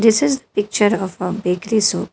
This is picture of a bakery shop.